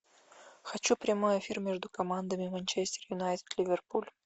хочу прямой эфир между командами манчестер юнайтед ливерпуль